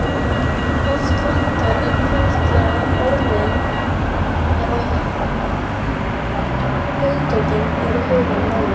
Oft vantar einfaldlega orðin- eða hugtökin eru hulin móðu.